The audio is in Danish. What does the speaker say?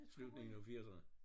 Slutningen af firserne?